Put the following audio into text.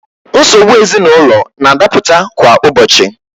Nsogbu ezinaụlọ na-adapụta kwa ụbọchị.